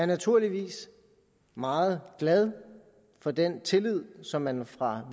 naturligvis meget glad for den tillid som man fra